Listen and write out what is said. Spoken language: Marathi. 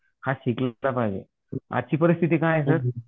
हा चा भाग आहे आजची परिस्थिती काय आहे सर?